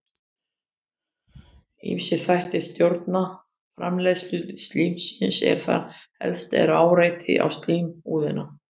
Ýmsir þættir stjórna framleiðslu slímsins en þar helst er áreiti á slímhúðina.